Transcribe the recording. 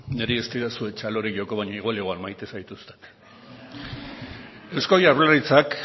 niri ez didazue txalori joko baina igual igual maite zaituztet eusko jaurlaritzak